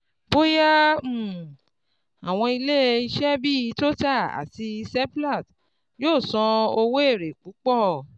Bóyá um àwọn ilé-iṣẹ́ bí Total àti Seplat yóò san owó èrè púpọ̀